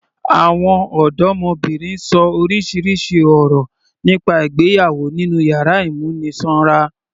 Àwọn ọdọmọbìnrin ṣọ orísirísi ọ̀rọ̀ nípa ìgbéyàwó nínú yàrá ìmúnisanra.